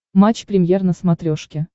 матч премьер на смотрешке